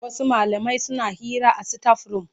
Wasu malamai suna hira a sitaf-rum.